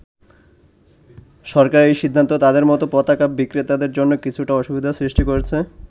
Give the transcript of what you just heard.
সরকারের এই সিদ্ধান্ত তাদের মতো পতাকা বিক্রেতাদের জন্য কিছুটা অসুবিধার সৃষ্টি করেছে।